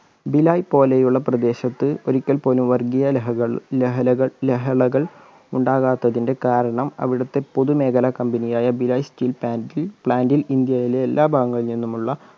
ഭിലായ് പോലെയുള്ള പ്രദേശത്ത് ഒരിക്കൽ പോലും വർഗ്ഗിയ ലഹകൾ ലഹലകൾ ലഹളകൾ ഉണ്ടാകാത്തതിൻ്റെ കാരണം അവിടത്തെ പൊതു മേഖലാ company ആയ ഭിലായ് steel പാന്റിൽ plant ൽ ഇന്ത്യയിലെ എല്ലാ ഭാഗങ്ങളിൽ നിന്നുമുള്ള